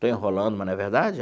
Estou enrolando, mas não é verdade?